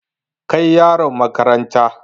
Kai yaron makaranta!